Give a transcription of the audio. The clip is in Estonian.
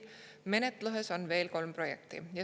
Menetluses on veel kolm projekti.